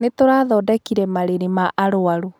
Nĩ tũrathodekire marĩrĩ ma arũaru.